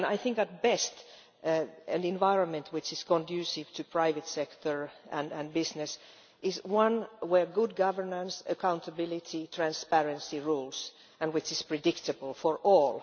I think that, at best, an environment which is conducive to the private sector and business is one where good governance, accountability and transparency rules and which is predictable for all.